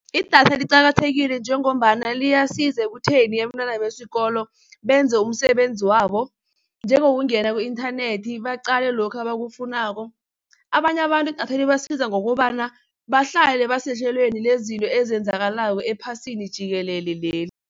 Idatha liqakathekile njengombana liyasiza ekutheni abentwana besikolo benze umsebenzi wabo, njengokungena ku-inthanethi baqale lokhu abakufunako. Abanye abantu idatha libasibiza ngokobana bahlale basehlelweni lezinto ezenzakalako ephasini jikelele leli.